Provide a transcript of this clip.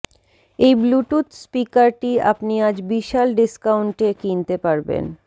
এই ব্লুটুথ স্পিকারটি আপনি আজ বিশাল ডিস্কাউন্টে কিনতে পারবেন